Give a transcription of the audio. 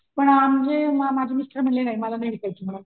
पण अ माझे माझे मिस्टर म्हणले नाही मला नाही विकायची.